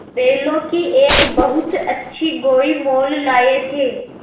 बैलों की एक बहुत अच्छी गोई मोल लाये थे